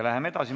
Läheme edasi.